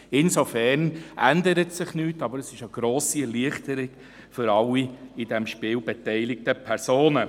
Insofern ändert sich nichts, aber es ist eine grosse Erleichterung für alle in diesem Spiel beteiligten Personen.